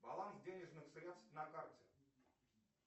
баланс денежных средств на карте